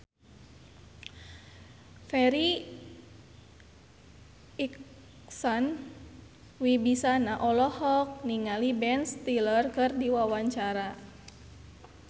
Farri Icksan Wibisana olohok ningali Ben Stiller keur diwawancara